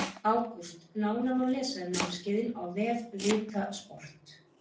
ÁGÚST Nánar má lesa um námskeiðin á vef VITA sport.